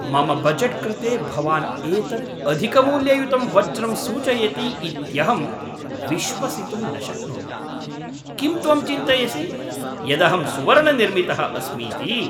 मम बजेट् कृते भवान् एतत् अधिकमूल्ययुतं वज्रं सूचयति इत्यहं विश्वसितुं न शक्नोमि। किं त्वं चिन्तयसि यदहं सुवर्णनिर्मितः अस्मीति?